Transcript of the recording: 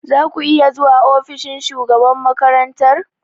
Za ku iya zuwa ofishin shugaban makarantar?